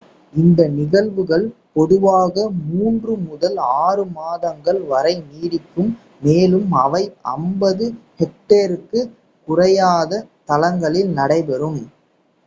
இந்த நிகழ்வுகள் பொதுவாக மூன்று முதல் ஆறு மாதங்கள் வரை நீடிக்கும் மேலும் அவை 50 ஹெக்டேருக்குக் குறையாத தளங்களில் நடைபெறும்